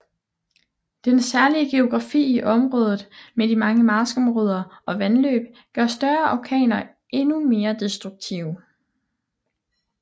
Den særlige geografi i området med de mange marskområder og vandløb gør større orkaner endnu mere destruktive